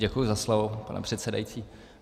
Děkuji za slovo, pane předsedající.